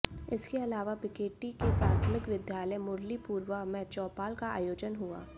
इसके अलावा बीकेटी के प्राथमिक विद्यालय मुरलीपुरवा में चौपाल का आयोजन हुआ